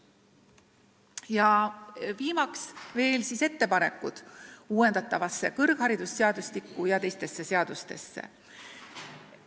Ja viimaks minu ettepanekud uuendatava kõrgharidusseadustiku ja teiste seaduste muutmiseks.